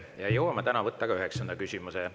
Ja jõuame täna võtta ka üheksanda küsimuse.